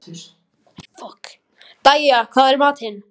Dæja, hvað er í matinn?